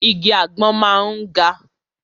Igi àgbọn máa ń ga.